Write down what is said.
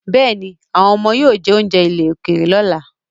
Bẹ́ẹ̀ni, àwọn ọmọ yóò gbádùn rẹ̀ yóò jẹ oúnjẹ àjèjì lọ́la.